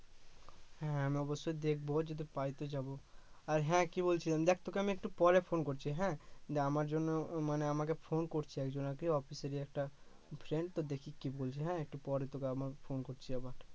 হ্যা আমি অবশ্যই দেখবো যে তোদের বাড়িতে যাবো আর হ্যা কি বলছিলাম দেখ তোকে আমি একটু পরে ফোন করছি হ্যা তুই আমার জন্য আহ আমাকে ফোন করছে একজন আরকি অফিসেরই একটা ফ্রেন্ড তো দেখি কি বলছে হ্যা একটু পরে তোকে আবার ফোন করছি আবার